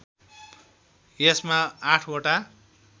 यसमा आठवटा